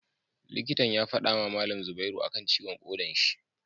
Likitan ya fadama malam zubairu akan ciwon koda shi